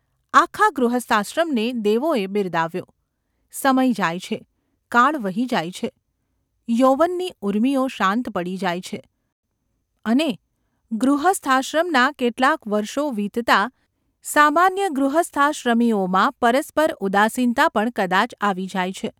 આખા ગૃહસ્થાશ્રમને દેવોએ બિરદાવ્યો. સમય જાય છે, કાળ વહી જાય છે, યૌવનની ઊર્મિઓ શાંત પડી જાય છે અને ગૃહસ્થાશ્રમનાં કેટલાંક વર્ષો વીતતાં સામાન્ય ગૃહસ્થાશ્રમીઓમાં પરસ્પર ઉદાસીનતા પણ કદાચ આવી જાય છે.